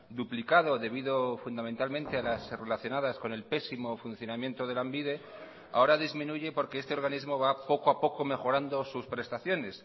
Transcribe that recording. duplicado debido fundamentalmente a las relacionadas con el pésimo funcionamiento de lanbide ahora disminuye porque este organismo va poco a poco mejorando sus prestaciones